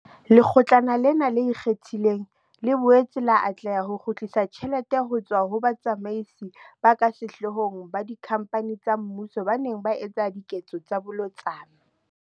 Lekgotlana lena le Ikgethileng, le boetse la atleha ho kgutlisa tjhelete ho tswa ho batsamaisi ba ka sehloohong ba dikhamphane tsa mmuso baneng ba etsa diketso tsa bolotsana.